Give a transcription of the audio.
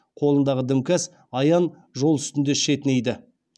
қолындағы дімкәс аян жол үстінде шетінейді